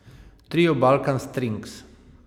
Trio Balkan Strings.